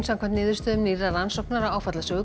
samkvæmt niðurstöðum nýrrar rannsóknar á